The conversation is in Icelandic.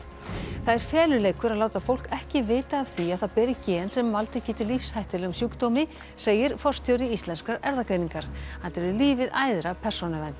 það er feluleikur að láta fólk ekki vita af því að það beri gen sem valdið geti lífshættulegum sjúkdómi segir forstjóri Íslenskrar erfðagreiningar hann telur lífið æðra persónuvernd